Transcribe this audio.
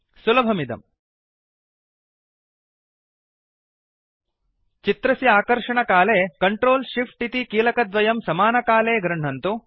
सुलभमिदम् चित्रस्य आकर्षणकाले control Shift इति कीलकद्वयं समकालमेव गृह्णन्तु